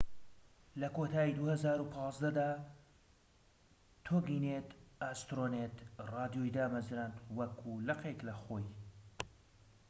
لە کۆتایی ٢٠١٥ دا، تۆگینێت ئاسترۆنێت ڕادیۆی دامەزراند وەکو لقێك لە خۆی